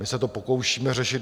My se to pokoušíme řešit.